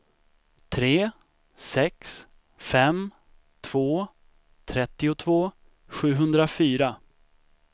tre sex fem två trettiotvå sjuhundrafyra